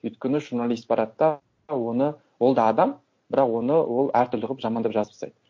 өйткені журналист барады да оны ол да адам бірақ оны ол әр түрлі қылып жамандап жазып тастайды